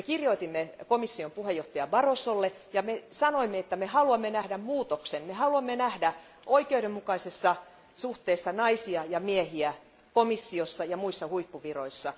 Me kirjoitimme komission puheenjohtajalle Barrosolle ja sanoimme, että haluamme nähdä muutoksen, haluamme nähdä oikeudenmukaisessa suhteessa naisia ja miehiä komissiossa ja muissa huippuviroissa.